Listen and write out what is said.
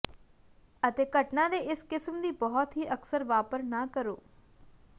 ਅਤੇ ਘਟਨਾ ਦੇ ਇਸ ਕਿਸਮ ਦੀ ਬਹੁਤ ਹੀ ਅਕਸਰ ਵਾਪਰ ਨਾ ਕਰੋ